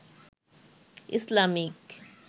Islamic